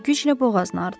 O güclə boğazını artladı.